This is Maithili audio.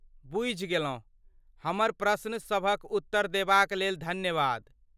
बुझि गेलहुँ, हमर प्रश्न सभक उत्तर देबा क लेल धन्यवाद।